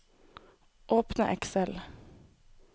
Åpne Excel